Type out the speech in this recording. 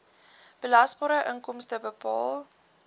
belasbare inkomste bepaal